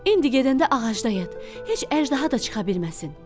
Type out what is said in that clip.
İndi gedəndə ağacda yat, heç əjdaha da çıxa bilməsin.